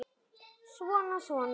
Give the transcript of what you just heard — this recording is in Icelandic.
Svona. svona